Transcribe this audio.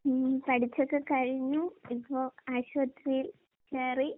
ഉം പഠിച്ചൊക്കെ കഴിഞ്ഞു. ഇപ്പോ ആശുപത്രിയിൽ കേറി.